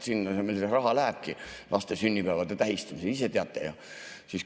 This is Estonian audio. Sinna raha lähebki laste sünnipäevade tähistamisel, ise teate ju.